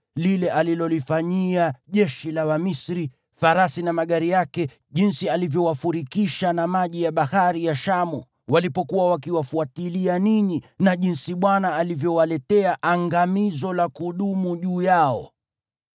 lile alilolifanyia jeshi la Wamisri, farasi na magari yake, jinsi alivyowafurikisha na maji ya Bahari ya Shamu walipokuwa wakiwafuatilia ninyi, na jinsi Bwana alivyowaletea angamizo la kudumu juu yao.